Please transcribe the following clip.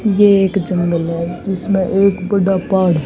ये एक जंगल है जिसमें एक बड़ा पहाड़--